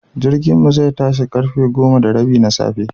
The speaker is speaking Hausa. Jirginmu zai tashi karfe goma da rabi na safe.